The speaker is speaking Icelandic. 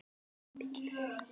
Aðeins þetta eina